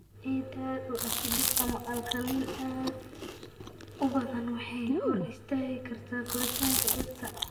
Ciida aad u acidic ama alkaliin aad u badan waxay hor istaagi kartaa koritaanka dhirta.